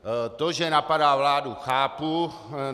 To, že napadá vládu, chápu.